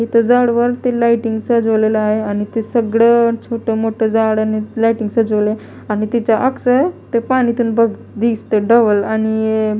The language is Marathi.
इथे झाडावरती लायटिंग सजवलेलं आहे आणि ते सगळं छोटं मोठं झाडांनी लायटिंग सजवलय आणि त्याचं अक्स आहे ते पाणी तेन बघ दिसतंय डबल आणि --